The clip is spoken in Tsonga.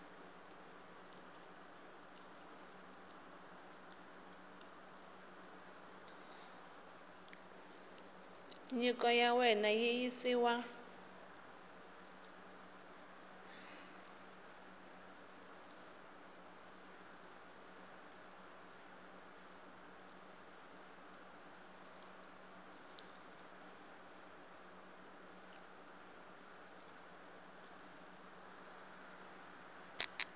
nyiko ya wena yi yisiwa